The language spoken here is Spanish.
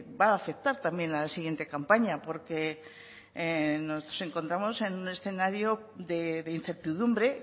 va a afectar también a la siguiente campaña porque nos encontramos en un escenario de incertidumbre